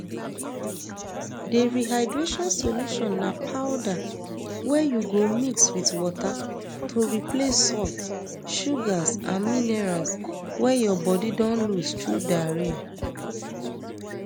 di rehydration solution na powder wey you go mix wit water to replace salts sugars and minerals wey your bodi don lose through diarrhoea